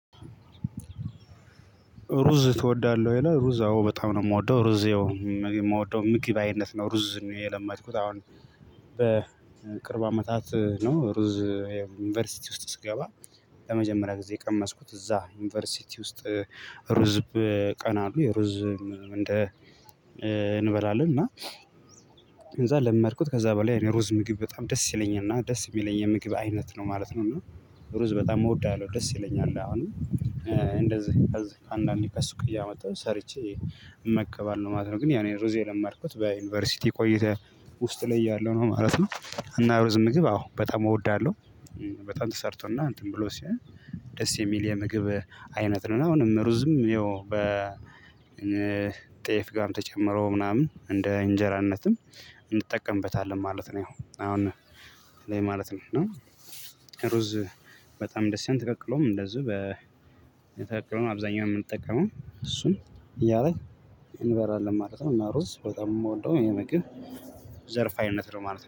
ሩዝ ትወዳለህ ወይ ነው? ሩዝ አዎ በጣም ነው የምወደው ሩዝ ያው ም የምወደው ምግብ አይነት ነው ሩዝ ነው የለመድኩት። አሁን በቅርብ አመታት ነው ሩዝ ዩኒቨርሲቲ ውስጥ ስገባ ለመጀመሪያ ጊዜ የቀመስኩት እዛ ዩኒቨርሲቲ ውስጥ ሩዝ በ ቀን አሉ የሩዝ እንደ እንበላለን። እና ከዛ ለመድኩት ከዛ በላይ የሩዝ ምግብ በጣም ደስ ይለኛል እና ደስ የሚለኝ የምግብ አይነት ነው ማለት ነው። እና ሩዝ በጣም እወዳለሁ ደስ ይለኛል አሁን እንደዚህ ከዚህ አንዳንዴ ከሱቅ እያመጣሁ ሰርቼ እመገባለሁ ማለት ነው። ግን የ እኔ ሩዝ የለመድኩት በዩኒቨርሲቲ ቆይታየ ውስጥ ላይ እያለሁ ነው ማለት ነው። እና ሩዝ ምግብ አዎ በጣም እወዳለሁ በጣም ተሰርቶና እንትን ብሎ ሲል ደስ የሚል የምግብ አይነት ነውና። አሁንም ሩዝም ያው በ እነ ጤፍ ጋር ተጨምሮ ምናምን እንደ እንጀራነትም እንጠቀምበታለን ማለት ነው። ያው አሁን ላይ ማለት ነው። ሩዝ በጣም ደስ ይላል ተቀቅሎም እንደዚሁ በ ተቀቅሎ አብዛኛውን የምንጠቀመው እሱን እያደረግን እንበላለን ማለት ነው። እና ሩዝ በጣም የምወደው የምግ ብ ዘርፍ አይነት ነው ማለት ነው